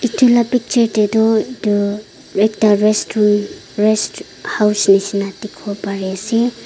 etu la bechey tey tu etu ekta restroom rest house neshna dekhe bopare ase.